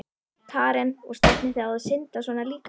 Karen: Og stefnið þið á að synda svona líka?